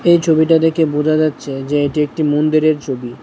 এই ছবিটা দেখে বুঝা যাচ্ছে যে এটি একটি মন্দিরের ছবি।